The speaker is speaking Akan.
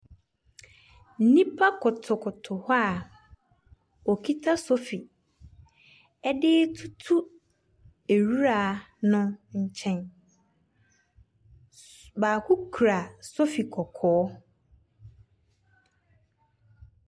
Nnipa kotow kotow hɔ a wokita sofi ɛde tutu nwura no nkyɛn. Baako kura sofi kɔkɔɔ.